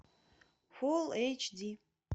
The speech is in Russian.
фулл эйч ди